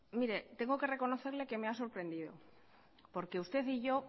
mire tengo que reconocerle que me ha sorprendido porque usted y yo